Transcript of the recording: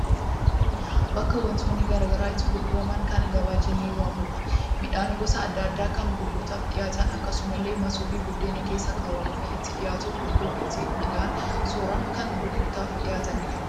Bakka wantoonni garaagaraa itti gurguraman kan gabaa jennee waamnudha. Midhaan gosa adda addaa kan gurgurtaaf dhiyaatan akkasumallee masoobii buddeen keessa kaawwamuu fi itti dhiyaatu, gundoo itti midhaan soran kan gurgurtaaf qophaa'anidha.